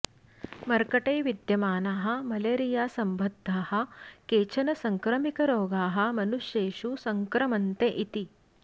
मर्कटे विद्यमानाः मलेरियासम्बद्धाः केचन संक्रमिकरोगाः मनुष्येषु सङ्क्रमन्ते इति